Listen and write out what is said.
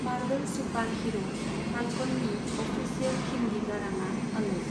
Marble सुपारहीर' फाल्कननि official Hindi गाराङा अनुज।